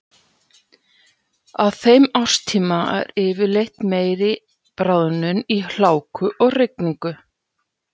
Á þeim árstíma er yfirleitt meiri bráðnun í hláku og rigningu.